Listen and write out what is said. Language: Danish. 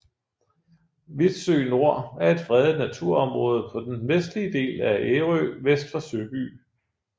Vitsø Nor er et fredet naturområde på den vestlige del af Ærø vest for Søby